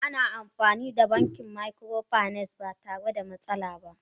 Ana amfani da banki microfinance ba tare da matsala ba.